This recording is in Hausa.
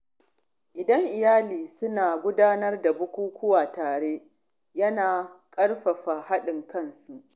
Idan iyali suna gudanar da bukukuwa tare, yana ƙarfafa haɗin kansu.